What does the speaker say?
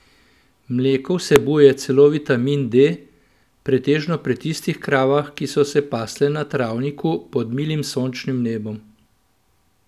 Mleko vsebuje celo vitamin D, pretežno pri tistih kravah, ki so se pasle na travniku pod milim sončnim nebom.